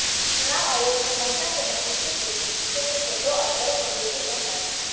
चुनाव आयोग ने ममता के भतीजे के क्षेत्र से दो अफसरों को ड्यूटी से हटाया